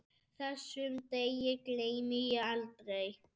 Þessum degi gleymi ég aldrei.